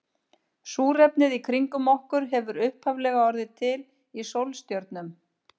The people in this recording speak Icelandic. Súrefnið í kringum okkur hefur upphaflega orðið til í sólstjörnum.